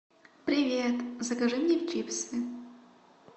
привет закажи мне чипсы